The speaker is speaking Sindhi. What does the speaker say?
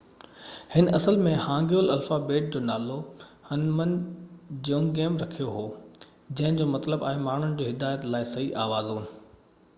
هن اصل ۾ هانگيول الفابيٽ جو نالو هُنمن جيونگيم رکيو هو جنهن جو مطلب آهي ماڻهن جي هدايت لاءِ صحيح آوازون